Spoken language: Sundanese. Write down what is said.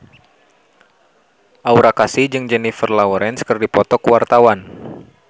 Aura Kasih jeung Jennifer Lawrence keur dipoto ku wartawan